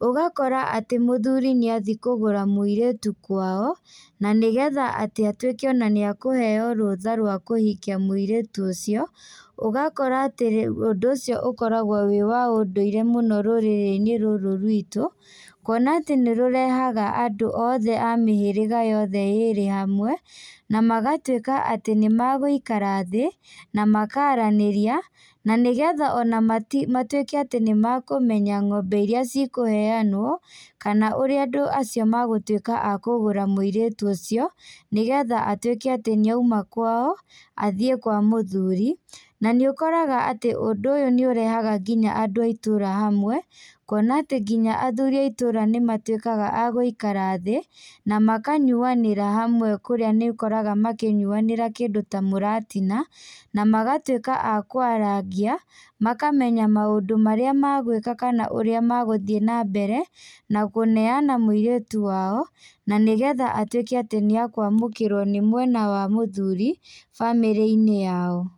Ũgakora atĩ mũthuri nĩ athiĩ kũgũra mũirĩtu kwao, na nĩgetha atĩ atuĩke ona nĩ ekũheyo rũtha rwa kũhikia mũirĩtu ũcio, ũgakora atĩ ũndũ ũcio ũkoragwo wĩ wa ũndũire mũno rũrĩrĩ-inĩ rũrũ rwitũ. Kuona atĩ nĩ rũrehaga andũ othe a mĩhĩrĩga yothe ĩĩrĩ hamwe na magatuĩka atĩ nĩ magũikara thĩ na makaaranĩria. Na nĩgetha ona matuĩke atĩ nĩ makũmenya ng'ombe irĩa cikũheanwo kana ũrĩa andũ acio magũtuĩka a kũgũra mũirĩtu ũcio, nĩgetha atuĩke atĩ nĩ oima kwao athiĩ kwa mũthuri. Na nĩ ũkoraga atĩ ũndũ ũyũ nĩ ũrehaga nginya andũ a itũra hamwe kuona atĩ nginya athuri a itũra nĩ matuĩkaga a gũikara thĩ na makanyuanĩra hamwe. Kũrĩa nĩ ũkoraga nĩ manyuanagĩra kĩndũ ta mũratina na magatuĩka a kwarangia, makamenya maũndũ marĩa megwĩka kana ũrĩa magũthiĩ na mbere na kũneana mũirĩtu wao, na nĩgetha atuĩke atĩ nĩ akũamũkĩrwo nĩ mwena wa mũthuri bamĩrĩ-inĩ yao.